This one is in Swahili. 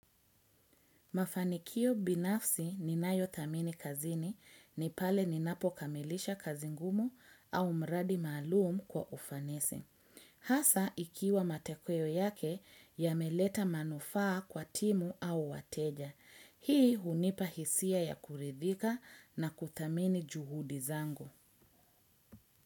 Mafanikio binafsi ninayothamini kazini ni pale ninapokamilisha kazi ngumu au mradi maalum kwa ufanisi. Hasa ikiwa matokeo yake yameleta manufaa kwa timu au wateja. Hii hunipa hisia ya kuridhika na kuthamini juhudi zangu.